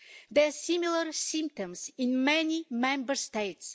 There are similar symptoms in many Member States.